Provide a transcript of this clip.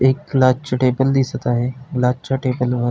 एक ग्लास चा टेबल दिसत आहे. ग्लासच्या टेबल वर --